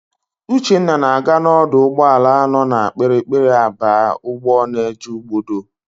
Uchenna na-aga n'ọdụ ụgbọala nọ na Kpiri-kpiri aba ụgbọ na-eje Ugbodo.